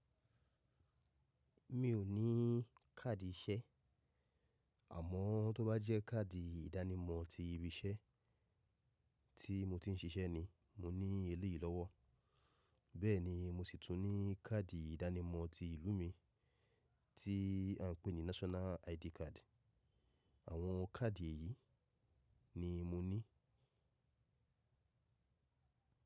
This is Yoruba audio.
Mi ò ní káàdì iṣẹ́ àmọ́ tó bá jẹ́ káàdì ìdánimọ̀ ti ibi iṣẹ́ tí mo ti ń siṣẹ́ ni mo ní eléyìí lọ́wọ́. Bẹ́ẹ̀ ni mi ò sì tún ní káàdì ìdánimọ̀ ti ìlú mi tí à ń pè ní National ID Card. Àwọn káàdì èyí ni mo ní.